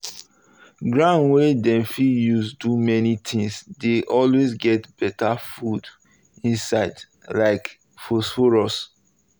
ground wey dem fit use do many things dey always get better food inside um like phosphorus